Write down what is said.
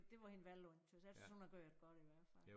Det var hende vel undt jeg tys hun har gjort det godt i hvert fald